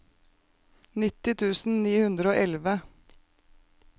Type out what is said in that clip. nitti tusen ni hundre og elleve